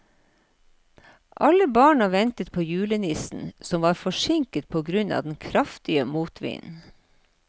Alle barna ventet på julenissen, som var forsinket på grunn av den kraftige motvinden.